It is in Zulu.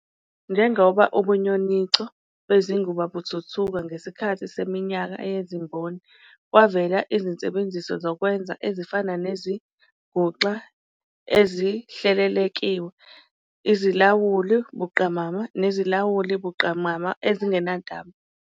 Njengoba ubunyoninco bezinguba buthuthuka ngesikhathi seminyaka yezimboni, kwavela izinsebenziso zokwenza ezifana nezinguxa ezihlelelekiwe, izilawuli buqamama nezilawuli buqamama ezingenantambo.